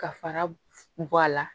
Ka fara bɔ a la